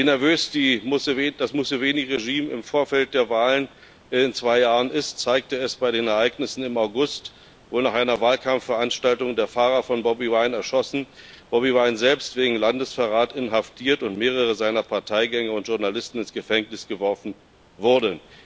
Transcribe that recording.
Wie nervös das Museveni Regime im Vorfeld der Wahlen in zwei Jahren ist, zeigte es bei den Ereignissen im August, wo nach einer Wahlkampfveranstaltung der Fahrer von Bobi Wine erschossen, Bobi Wine selbst wegen Landesverrats inhaftiert und mehrere seiner Parteigänger und Journalisten ins Gefängnis geworfen wurden.